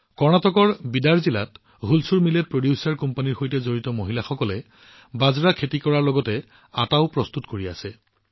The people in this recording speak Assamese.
কৰ্ণাটকৰ বিদাৰ জিলাত হুলচুৰ মিলেট প্ৰযোজক কোম্পানীৰ সৈতে সম্পৰ্কিত মহিলাসকলে বাজৰা খেতি কৰাৰ লগতে ইয়াৰ পৰা আটাও প্ৰস্তুত কৰি আছে